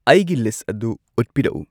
ꯑꯩꯒꯤ ꯂꯤꯁꯠ ꯑꯗꯨ ꯎꯠꯄꯤꯔꯛꯎ